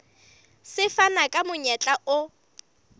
se fana ka monyetla o